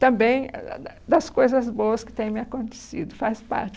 Também ah da da das coisas boas que têm me acontecido, faz parte.